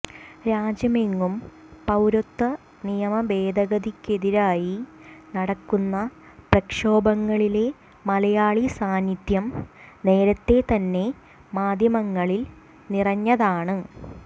രാജ്യമെങ്ങും പൌരത്വ നിയമ ഭേദഗതിക്കെതിരായി നടക്കുന്ന പ്രക്ഷോഭങ്ങളിലെ മലയാളി സാന്നിധ്യം നേരത്തേ തന്നെ മാധ്യമങ്ങളിൽ നിറഞ്ഞതാണ്